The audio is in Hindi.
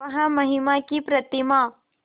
वह महिमा की प्रतिमा